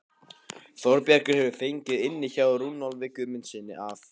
Þórbergur hefur fengið inni hjá Runólfi Guðmundssyni að